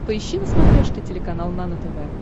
поищи на смотрешке телеканал нано тв